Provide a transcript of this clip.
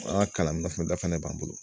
An ka kalan fɛnɛ b'an bolo.